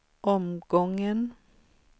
omgången